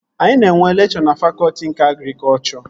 Anyị na-enwe lekchọ na fakọtị nke agrikọchọ